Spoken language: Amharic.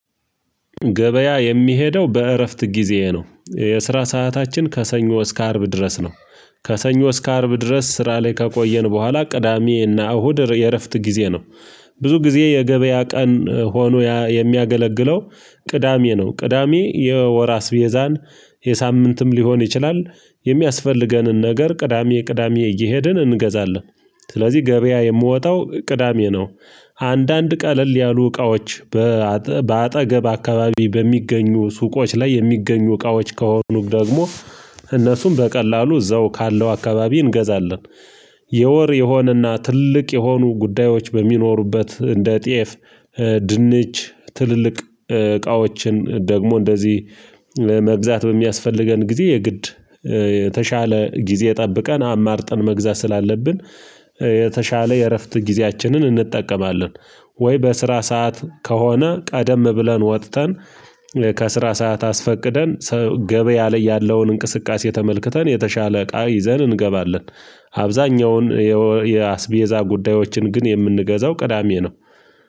ገበያ የሚሄደው በእረፍት ጊዜዬ ነው የስራ ሰዓታችን ከሰኞ እስከ አርብ ድረስ ነው። ከሰኞ እስከ አርብ ድረስ ስራ ላይ ከቆየን በኋላ ቅዳሜና እሁድ የእረፍት ጊዜ ነው። ብዙ ጊዜ የገበያ ቀን ሆኖ የሚያገለግለው። ቅዳሜ ነው ቅዳሜ የወር አስቤዛን የሳምንትም ሊሆን ይችላል። የሚያስፈልገንን ነገር ቅዳሜ ቅዳሜ እየሄድን እንገዛለን። ስለዚህ ገበያ የምወጣው ቅዳሜ ነው። አንዳንድ ቀለል ያሉ እቃዎች በአጠገብ አካባቢ በሚገኙ ሱቆች ላይ የሚገኙ እቃዎች ከሆኑም ደግሞ እነሱም በቀላሉ እዛው ካለው አካባቢ እንገዛለን። የወር የሆነና ትልቅ የሆኑ ጉዳዮች በሚኖሩበት እንደ ጤፍ ድንች ትልልቅ እቃዎችን ደግሞ እንደዚህ መግዛት በሚያስፈልገን ጊዜ የግድ የተሻለ ጊዜ ጠብቀን አማርጠን መግዛት ስላለብን። የተሻለ የእረፍት ጊዜያችንን እንጠቀማለን። ወይ በስራ ሰዓት ከሆነ ቀደም ብለን ወጥተን ከስራ ሰዓት አስፈቅደን ገበያ ላይ ያለውን እንቅስቃሴ ተመልክተን የተሻለ እቃ ይዘን እንገባለን። አብዛኛውን የአስቤዛ ጉዳዮችን ግን የምንገዛው ቅዳሜ ነው።